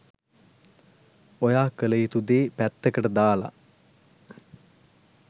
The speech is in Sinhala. ඔයා කලයුතු දේ පැත්තකට දාලා